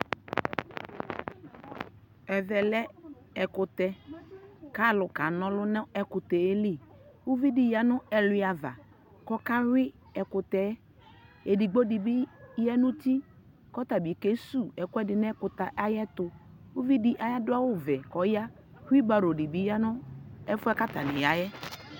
Ɛvɛ lɛ ɛkutɛ ka lu ka na ɔluna nu ɛkutɛ liUvi di ya nu ɛlua va kɔ ka yʋi ɛkutɛƐdigbo di bi ya nu ti kɔ ta bi zu ɛkuɛ di nɛ kutɛ tuUvidiadu awu vɛ kɔ ya ku baro di ya nu ɛfuɛ kata ni ya yɛ